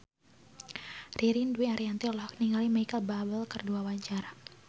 Ririn Dwi Ariyanti olohok ningali Micheal Bubble keur diwawancara